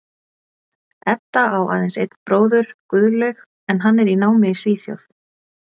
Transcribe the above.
Edda á aðeins einn bróður, Guðlaug, en hann er í námi í Svíþjóð.